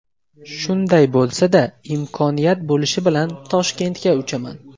Shunday bo‘lsa-da, imkoniyat bo‘lishi bilan Toshkentga uchaman.